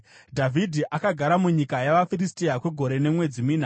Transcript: Dhavhidhi akagara munyika yavaFiristia kwegore nemwedzi mina.